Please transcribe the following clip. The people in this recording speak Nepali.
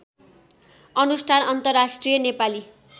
अनुष्ठान अन्तर्राष्ट्रिय नेपाली